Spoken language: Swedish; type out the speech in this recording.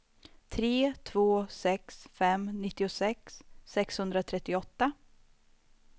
tre två sex fem nittiosex sexhundratrettioåtta